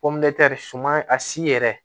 suma a si yɛrɛ